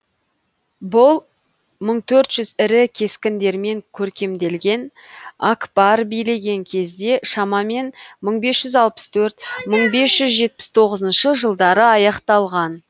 бұл мың төрт жүз ірі кескіндермен көркемделген акбар билеген кезде шамамен мың бес жүз алпыс төрт мың бес жүз жетпіс тоғызыншы жылдары аяқталған